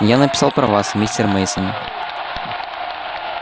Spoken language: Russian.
и я написал про вас мистер мейсон